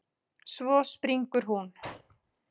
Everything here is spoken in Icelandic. Svo springur hún.